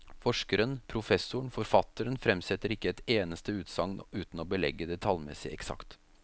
Forskeren, professoren og forfatteren fremsetter ikke ett eneste utsagn uten å belegge det tallmessig eksakt.